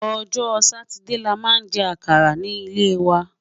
ọjọ Sátidé là má jè àkàrà ní lè wà